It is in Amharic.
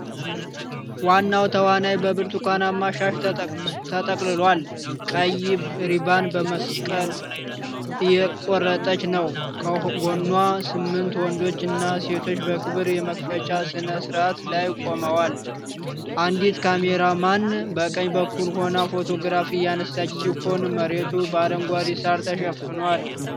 ዋናዋ ተዋናይት በብርቱካናማ ሻሽ ተጠቅልላ፣ ቀይ ሪባን በመቀስ እየቆረጠች ነው። ከጎኗ ስምንት ወንዶችና ሴቶች በክብር የመክፈቻ ሥነ ሥርዓት ላይ ቆመዋል። አንዲት ካሜራማን በቀኝ በኩል ሆና ፎቶግራፍ እያነሳች ሲሆን መሬቱ በአረንጓዴ ሳር ተሸፍኗል።